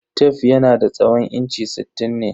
Tef yanada tsawon inchi sittin ne.